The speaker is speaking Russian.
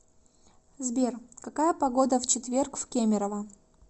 сбер какая погода в четверг в кемерово